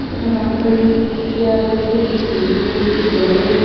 এখানে অনেক কয়টি চেয়ার রয়েছে একটি টেবিল রয়েছে জলের--